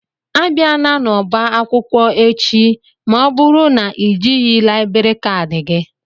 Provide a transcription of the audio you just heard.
Abiana n'ọba akwụkwọ echi ma ọ bụrụ na ị jighị laịbrị kadi gị!